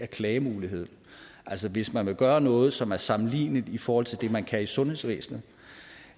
klagemuligheden hvis man vil gøre noget som er sammenligneligt i forhold til det man kan i sundhedsvæsenet